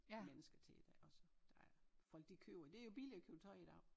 Mennesker til det ikke også der er folk de køber det jo billigere at købe tøj i dag